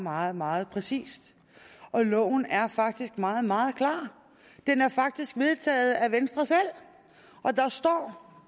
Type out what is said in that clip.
meget meget præcist og loven er faktisk meget meget klar det er faktisk vedtaget af venstre selv og der står